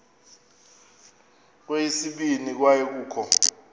kweyesibini kwaye kukho